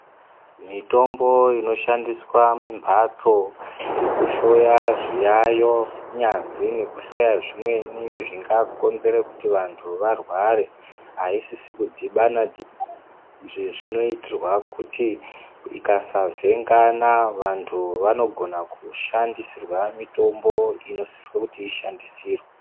Mitombo inoshandisa mumhatso dzekuhloya zviyayi nyazi nekuhloya zvimweni zvingakonzwra kuti vantu varware aisisi kudhibana izvi zvinoitira kuti ikasavhengana vantu vanogona kushandisirwa mutombo unosise kuti ushandisirwe.